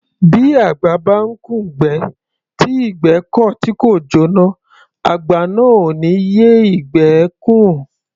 Bí àgbà bá ńkùn'gbẹ́, tí ìgbẹ́ kọ̀ tí kò jóná, àgbà náà ò ní yé ìgbẹ́ ẹ́ kùn.